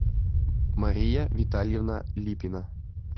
мария витальевна липина